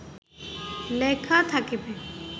লেখা থাকবে